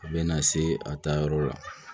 A bɛ na se a taayɔrɔ la